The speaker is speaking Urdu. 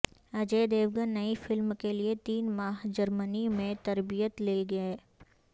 اجے دیوگن نئی فلم کیلئے تین ماہ جرمنی میں تربیت لیں گے